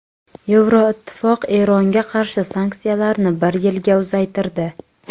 Yevroittifoq Eronga qarshi sanksiyalarni bir yilga uzaytirdi.